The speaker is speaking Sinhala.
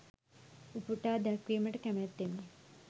උපුටා දැක්වීමට කැමැත්තෙමි.